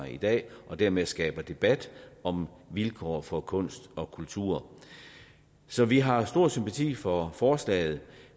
i dag og dermed skaber debat om vilkårene for kunst og kultur så vi har stor sympati for forslaget